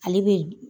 Ale bɛ